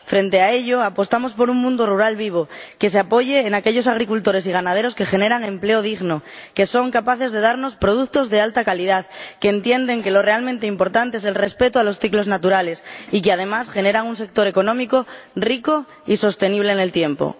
Frente a ello, apostamos por un mundo rural vivo que se apoye en aquellos agricultores y ganaderos que generan empleo digno, que son capaces de darnos productos de alta calidad, que entienden que lo realmente importante es el respeto de los ciclos naturales y que, además, generan un sector económico rico y sostenible en el tiempo.